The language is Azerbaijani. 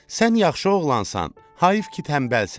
Sən yaxşı oğlansan, hayıf ki, tənbəlsən.